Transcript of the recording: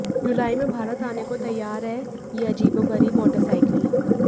जुलाई में भारत आने को तैयार है यह अजीबोगरीब मोटरसाइकिल